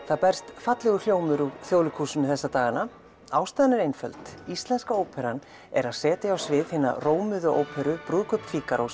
það berst fallegur hljómur úr Þjóðleikhúsinu þessa dagana ástæðan er einföld Íslenska óperan er að setja á svið hina rómuðu óperu brúðkaup